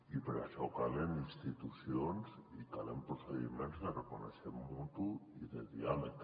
i per a això calen institucions i ca·len procediments de reconeixement mutu i de diàleg